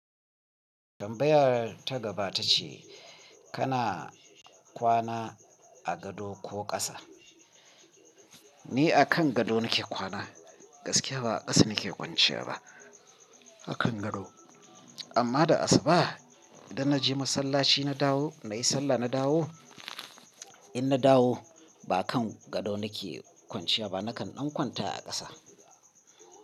Tambayar ta gaba ta ce kana kwana a gado ko ƙasa? Ni a kan gado nake kwana gaskiya ba ƙasa nake kwanciya ba a kan gado amma da asuba idan na je masallaci na dawo nayi sallah na dawo in na dawo ba kan gado nake kwanciya ba nakan ɗan kwanta a ƙasa.